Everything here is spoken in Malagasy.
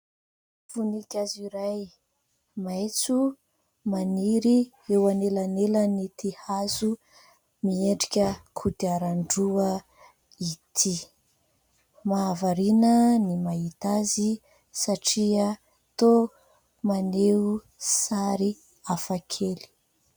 Voninkazo iray maitso maniry eo anelanelan' ity hazo miendrika kodiaran-droa ity. Mahavariana ny mahita azy satria toa maneho sary hafakely.